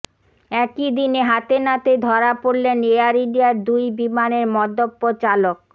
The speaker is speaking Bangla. একইদিনে হাতেনাতে ধরা পড়লেন এয়ার ইন্ডিয়ার দুই বিমানের মদ্যপ চালক